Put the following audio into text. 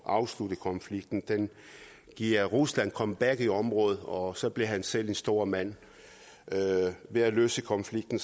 afslutte konflikten den giver rusland et comeback i området og så bliver han selv en stor mand ved at løse konflikten